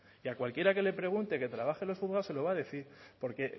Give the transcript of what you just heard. y a cualquiera que le pregunte que trabaje en los juzgados se lo va a decir porque